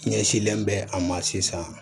Ɲɛsinlen bɛ a ma sisan